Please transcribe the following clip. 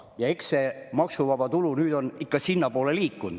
Ja eks see maksuvaba tulu nüüd on sinnapoole liikunud.